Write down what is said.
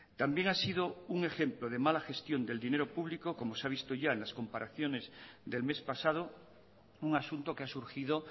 también ha sido un ejemplo de mala gestión del dinero público como se ha visto ya en las comparaciones del mes pasado un asunto que ha surgido